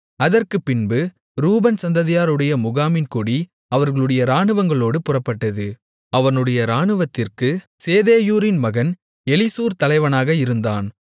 அதற்குப்பின்பு ரூபன் சந்ததியாருடைய முகாமின் கொடி அவர்களுடைய இராணுவங்களோடு புறப்பட்டது அவனுடைய இராணுவத்திற்குச் சேதேயூரின் மகன் எலிசூர் தலைவனாக இருந்தான்